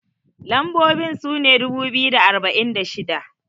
lambobin sune dubu biyu da arba'in da shida